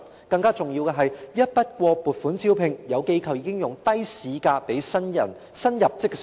更重要的是，按一筆過撥款，有機構已經用低於市價的薪酬招聘新入職社工。